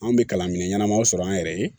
Anw bɛ kalan minɛn ɲɛnamaw sɔrɔ an yɛrɛ ye